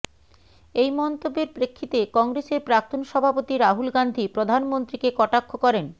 এই মন্তব্যের প্রেক্ষিতে কংগ্রেসের প্রাক্তন সভাপতি রাহুল গান্ধী প্রধানমন্ত্রীকে কটাক্ষ করেন